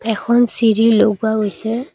এখন চিৰি লগোৱা গৈছে।